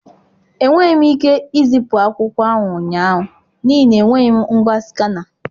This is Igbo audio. Enweghị m ike izipu akwụkwọ ahụ ụnyaahụ n'ihi na enweghị m ngwa Skana.